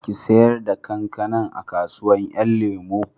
Ki sayar da kankanan a kasuwan 'yan lemo